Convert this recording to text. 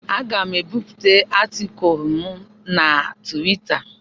Aga m ebipụta atịkulụ m na Twita.